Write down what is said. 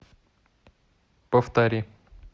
повтори